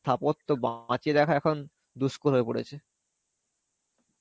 স্থাপত্য বাঁচিয়ে রাখা এখন দুষ্কর হয়ে পড়েছে.